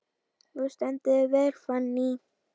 Þú stendur þig vel, Fanný!